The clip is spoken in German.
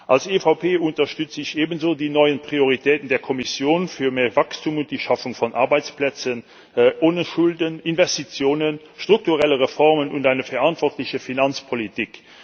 Als EVP unterstützen wir ebenso die neuen Prioritäten der Kommission für mehr Wachstum und die Schaffung von Arbeitsplätzen ohne Schulden, Investitionen, strukturelle Reformen und eine verantwortliche Finanzpolitik.